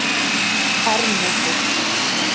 Árnesi